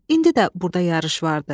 İndi də burada yarış vardı.